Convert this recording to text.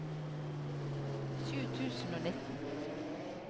sju tusen og nitten